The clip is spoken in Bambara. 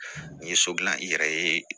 N ye so dilan i yɛrɛ ye